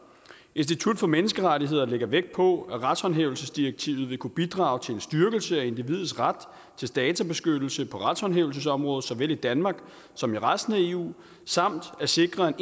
institut for menneskerettigheder lægger vægt på at retshåndhævelsesdirektivet vil kunne bidrage til en styrkelse af individets ret til databeskyttelse på retshåndhævelsesområdet såvel i danmark som i resten af eu samt at sikre